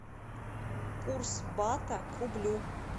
курс бата к рублю